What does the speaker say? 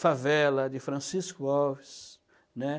Favela, de Francisco Alves, né.